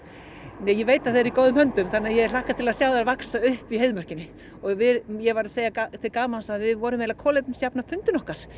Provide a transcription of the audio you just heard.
nei ég veit að þær eru í góðum höndum þannig að ég hlakka til að sjá þær vaxa upp í Heiðmörkinni og ég var að segja til gamans að við vorum eiginlega að kolefnisjafna fundinn okkar